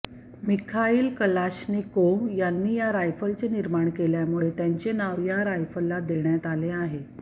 Mikhail Kalashnikov यांनी ह्या रायफलचे निर्माण केल्यामुळे त्यांचे नाव या रायफलला देण्यात आले आहे